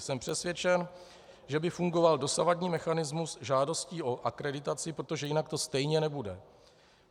Jsem přesvědčen, že by fungoval dosavadní mechanismus žádostí o akreditaci, protože jinak to stejně nebude.